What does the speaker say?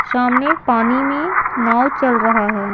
सामने पानी में नाव चल रहा है।